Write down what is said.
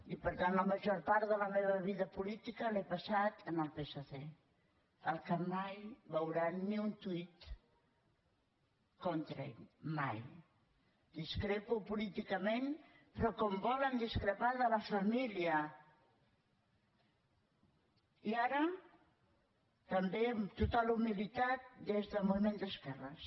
i per tant la major part de la meva vida política l’he passada en el psc al qual mai veuran ni un tweetperò com volen discrepar de la família i ara també amb total humilitat des del moviment d’esquerres